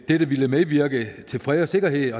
dette ville medvirke til fred og sikkerhed